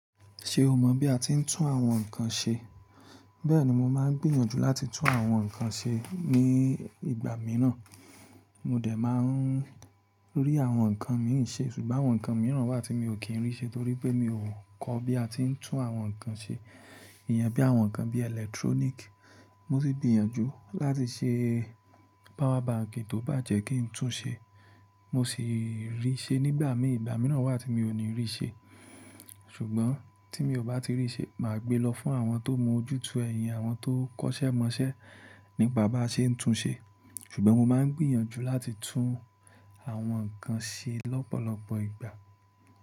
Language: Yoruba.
Ṣé o mọ̀ bí a ti ń tún àwọn nkan ṣe? Bẹ́ẹ̀ni, mo máa ń gbìyànjú láti tún àwọn nkan ṣe ní ìgbà mìíràn. Mo dẹ̀ máa ń rí àwọn nkan mìí ṣe ṣùgbọ́n àwọn nkan mìíràn wà tí mi ò kí n rí ṣe torí pé mi ò kọ́ bí a tí ń tún àwọn nkan ṣe. Ìyẹn bí àwọn nkan bí electronic. Mo sì gbìyànjú láti ṣe power bank tó bá jẹ́ kí n tún ṣe. Mo sì rí ṣe nígbà mi i ìgbà mìíràn wà tí miò ní rí ṣe. Ṣùgbọ́n tí mi ò bá ti rí ṣe, màá gbé lọ fún àwọn tó mọ ojútùú ẹ̀ ìyẹn, àwọn tó kọ́ṣẹ́ mọṣẹ́ nípa bá ṣe ń tún ṣe. Ṣùgbọ́n mo máa ń gbìyànjú láti tún àwọn nkan ṣe lọ́pọ̀lọpọ̀ ìgbà.